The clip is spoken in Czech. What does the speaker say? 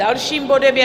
Dalším bodem je